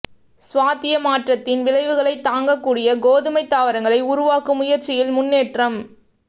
சுவாத்திய மாற்றத்தின் விளைவுகளை தாங்கக் கூடிய கோதுமை தாவரங்களை உருவாக்கும் முயற்சியில் முன்னேற்றம்